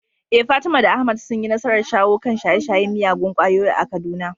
Eh Fatima da Ahmad sun yi nasarar shawo kan shaye-shayen miyagun ƙwayoyi a Kaduna.